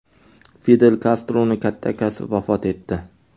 Fidel Kastroning katta akasi vafot etdi.